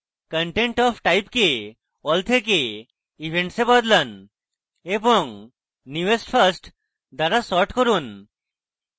content of type কে all থেকে events এ বদলান এবং newest first দ্বারা সর্ট করুন